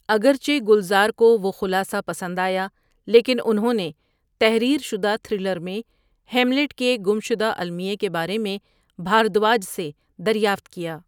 اگرچہ گلزار کو وہ خلاصہ پسند آیا، لیکن انہوں نے تحریر شدہ تھرلر میں ہیملیٹ کے گمشدہ المیے کے بارے میں بھاردواج سے دریافت کیا۔